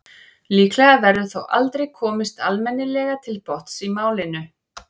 líklega verður þó aldrei komist almennilega til botns í málinu